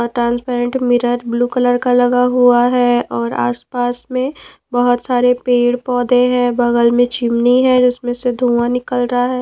Transparent mirror blue colour का लगा हुआ है और आसपास में बहुत सारे पेड़-पौधे हैं बगल में चिमनी है जिसमें से धुआं निकल रहा है।